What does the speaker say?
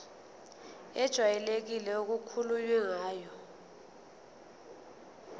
ejwayelekile okukhulunywe ngayo